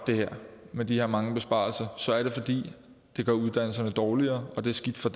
med de mange besparelser så er det fordi det gør uddannelserne dårligere og det er skidt for